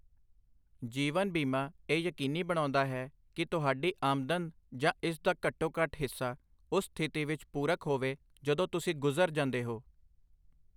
ਜੀਵਨ ਬੀਮਾ ਇਹ ਯਕੀਨੀ ਬਣਾਉਂਦਾ ਹੈ ਕਿ ਤੁਹਾਡੀ ਆਮਦਨ ਜਾਂ ਇਸ ਦਾ ਘੱਟੋ ਘੱਟ ਹਿੱਸਾ ਉਸ ਸਥਿਤੀ ਵਿੱਚ ਪੂਰਕ ਹੋਵੇ ਜਦੋਂ ਤੁਸੀਂ ਗੁਜ਼ਰ ਜਾਂਦੇ ਹੋ।